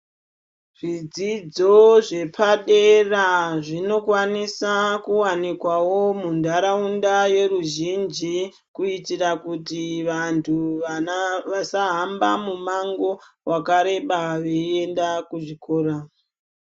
Zvidzidzo zvepadera zvepadera zvinokwanisa kuwanikwawo muntaraunda yeveruzhinji kuitira kuti vantu vana vasahamba mumango wakareba veienda kuzvikora.